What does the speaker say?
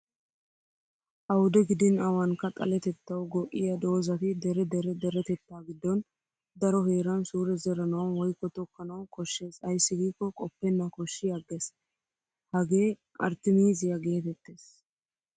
Awude gidin awaanikka xalettettawu go'iya doozzati dere dere deretettaa giddon daro heran suure zeranawu woykko tokkanawu koshshes ayssi giikko qoppenna kosshi agges. Hagee arttimiiziya geetettes.